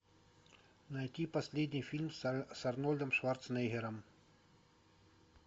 найти последний фильм с арнольдом шварценеггером